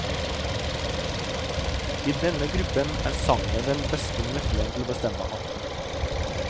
I denne gruppen er sangen den beste nøkkelen til å bestemme arten.